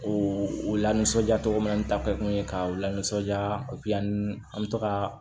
O lanisɔndiya cogo min ta kɛ kun ye ka u lanisɔndiya an bɛ to ka